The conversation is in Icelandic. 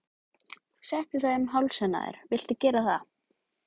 Settu það um hálsinn á þér viltu gera það?